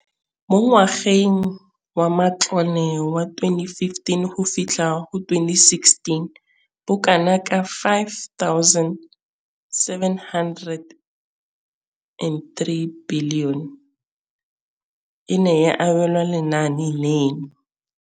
Mo ngwageng wa matlole wa 2015,16, bokanaka R5 703 bilione e ne ya abelwa lenaane leno.